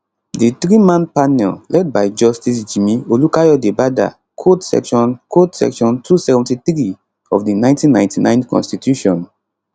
di threeman panel led by justice jimi olukayodebada quote section quote section 273 of di 1999 constitution